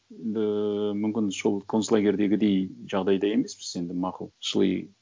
енді мүмкін сол концлагерьдегідей жағдайда емеспіз енді мақұл шыли